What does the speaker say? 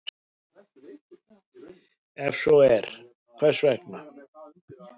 Ef svo er, hvers vegna?